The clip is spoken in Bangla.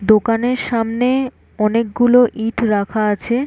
দোকান এর সামনে এ অনেক গুলো ইট রাখা আছে।